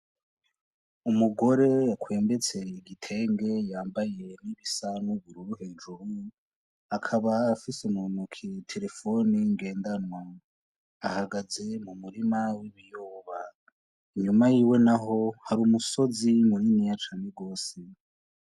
Umugore akwembetse igitenge yambaye n'ibisa n'ubururu hejuru akaba afise muntoke telefone ngendanwa, ahagaze mu murima w'ibiyoba inyuma yiwe naho hari umusozi muniniya cane rwose.